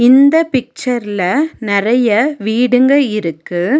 இந்த பிக்சர்ல நெறைய வீடுங்க இருக்கு.